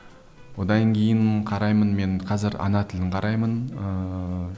одан кейін қараймын мен қазір ана тілін қараймын ыыы